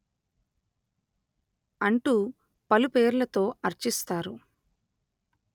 అంటూ పలుపేర్లతో అర్చిస్తారు